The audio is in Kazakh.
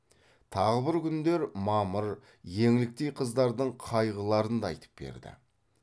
тағы бір күндер мамыр еңліктей қыздардың қайғыларын да айтып берді